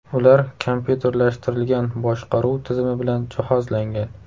Ular kompyuterlashtirilgan boshqaruv tizimi bilan jihozlangan.